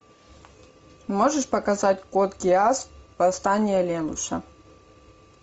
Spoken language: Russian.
можешь показать код гиас восстание лелуша